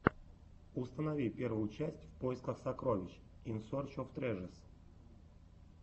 установи первую часть в поисках сокровищ ин сорч оф трэжэс